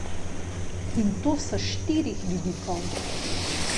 In to s štirih vidikov.